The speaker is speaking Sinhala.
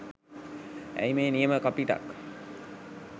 ඇයි මේ නියම කපිටක්